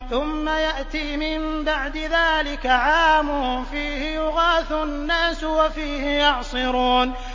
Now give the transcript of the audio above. ثُمَّ يَأْتِي مِن بَعْدِ ذَٰلِكَ عَامٌ فِيهِ يُغَاثُ النَّاسُ وَفِيهِ يَعْصِرُونَ